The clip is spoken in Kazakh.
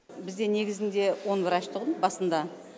бізде негізінде он врач тұғын басында